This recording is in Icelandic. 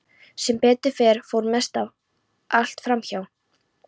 Sem betur fer fór mest allt fram hjá.